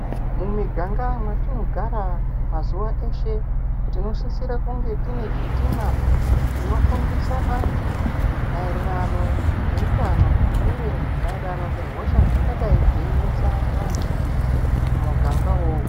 Mumiganga mwetinogara mazuva eshe, tinosisira kunge tine chitima chinofundisa vantu maringe ngeutano uye maererano nehosha dzingadai dzeinesa vantu mumuganga uwowo.